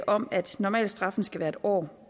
om at normalstraffen skal være en år